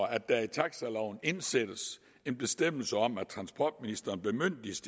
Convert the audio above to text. at der i taxaloven indsættes en bestemmelse om at transportministeren bemyndiges